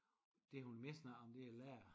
Det hun mest snakker om det er lærer